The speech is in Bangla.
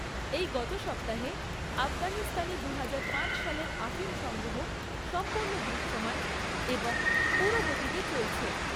এই গত সপ্তাহে, আফগানিস্তানে দুহাজার পাঁচ সালের আফিম সংগ্রহ সম্পূর্ণ দৃশ্যমান এবং পুরো গতিতে চলছে।